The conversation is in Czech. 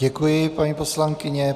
Děkuji, paní poslankyně.